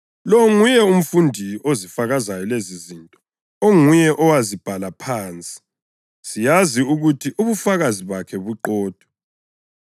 Lo nguye umfundi ozifakazayo lezizinto, onguye owazibhala phansi. Siyazi ukuthi ubufakazi bakhe buqotho.